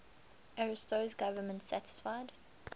ariosto's government satisfied